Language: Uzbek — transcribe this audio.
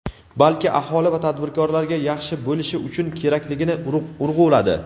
balki aholi va tadbirkorlarga yaxshi bo‘lishi uchun kerakligini urg‘uladi.